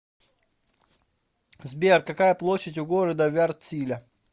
сбер какая площадь у города вяртсиля